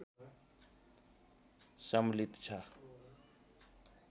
सम्मिलित छ